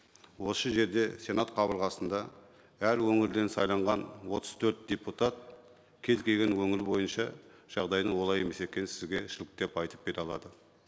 осы жерде сенат қабырғасында әр өңірден сайланған отыз төрт депутат кез келген өңір бойынша жағдайдың олай емес екенін сізге деп айтып бере алады